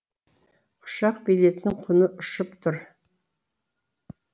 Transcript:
ұшақ билетінің құны ұшып тұр